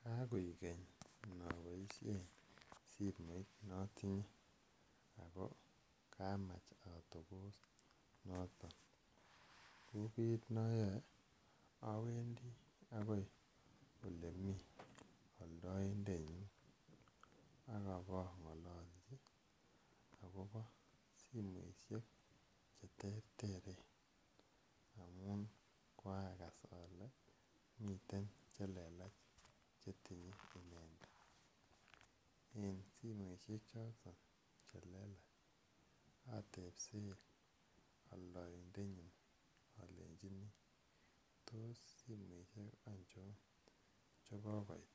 Kakaoek keny napaishen simoit ne atinye ako kamacha atopos noton. Ko kiit ne ayaen, awendi akoi ole mi aldajndenyin ak ipang'alalchi akopa simoishek che terteren amun koakas ale miten che lelach che tinyen inendet. Eng' simoishechoton che lelach, atepse aldaindetnyin alechini tos simoshek aichon che kokoit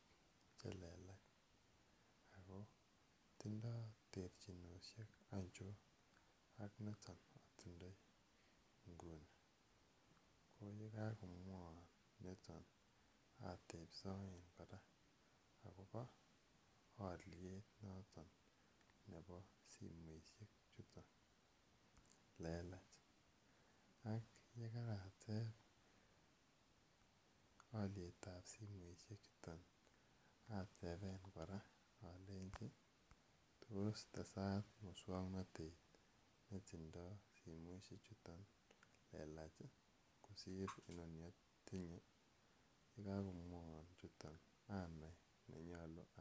che lelach ako tindai terchinoshek aichon ak nitok ne atindai inguni . Ko ye kakomwaiwan niton atepsaen kora akopa aliet noton nepo simoishek chuton lelach. Ak ye kaatep aliet ap simoishekchuton atepe kora alechi tos tesat muswoknotet ne tindai solimoishechutok lelach kosir ni atinye. Ye kakowaiwan chuton anai ne nyalu aal(uh).